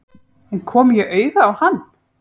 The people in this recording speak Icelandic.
En kom ég auga á hann?